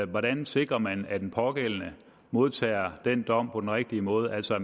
hvordan sikrer man at den pågældende modtager den dom på den rigtige måde altså at